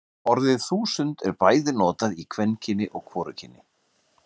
orðið þúsund er bæði notað í kvenkyni og hvorugkyni